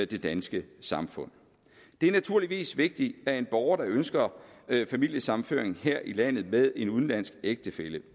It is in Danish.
det danske samfund det er naturligvis vigtigt at en borger der ønsker familiesammenføring her i landet med en udenlandsk ægtefælle